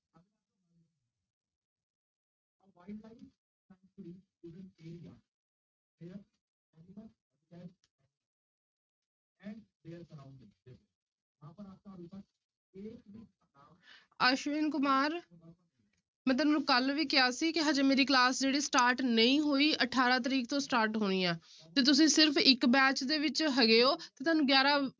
ਅਸ਼ਵਿਨ ਕੁਮਾਰ ਮੈਂ ਤੈਨੂੰ ਕੱਲ੍ਹ ਵੀ ਕਿਹਾ ਸੀ ਕਿ ਹਜੇ ਮੇਰੀ class ਜਿਹੜੀ start ਨਹੀਂ ਹੋਈ, ਅਠਾਰਾਂ ਤਰੀਕ ਤੋਂ start ਹੋਣੀ ਆਂ ਤੇ ਤੁਸੀਂ ਸਿਰਫ਼ ਇੱਕ batch ਦੇ ਵਿੱਚ ਹੈਗੇ ਹੋ ਤੇ ਤੁਹਾਨੂੰ ਗਿਆਰਾਂ